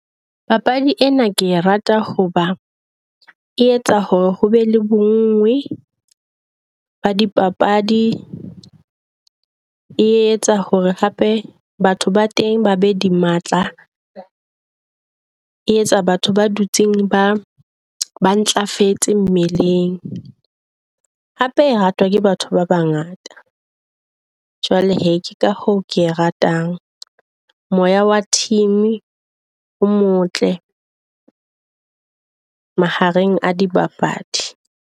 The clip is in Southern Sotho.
Papadi ena ke e rata ho ba e etsa hore ho be le bo nngwe ba dipapadi. E etsa hore hape batho ba teng ba be di matla, e etsa batho ba dutseng ba ntlafetse mmeleng. Hape e ratwa ke batho ba bangata. Jwale ke ka hoo ke e ratang, moya wa team o motle mahareng a dibapadi.